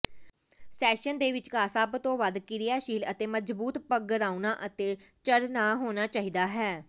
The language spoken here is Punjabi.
ਸੈਸ਼ਨ ਦੇ ਵਿਚਕਾਰ ਸਭ ਤੋਂ ਵੱਧ ਕਿਰਿਆਸ਼ੀਲ ਅਤੇ ਮਜ਼ਬੂਤ ਪਗਰਾਉਣਾ ਅਤੇ ਝਰਨਾਹ ਹੋਣਾ ਚਾਹੀਦਾ ਹੈ